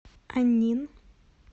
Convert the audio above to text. аньнин